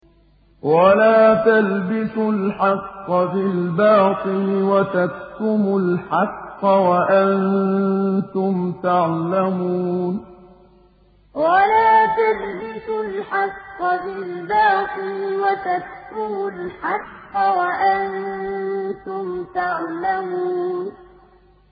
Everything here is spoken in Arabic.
وَلَا تَلْبِسُوا الْحَقَّ بِالْبَاطِلِ وَتَكْتُمُوا الْحَقَّ وَأَنتُمْ تَعْلَمُونَ وَلَا تَلْبِسُوا الْحَقَّ بِالْبَاطِلِ وَتَكْتُمُوا الْحَقَّ وَأَنتُمْ تَعْلَمُونَ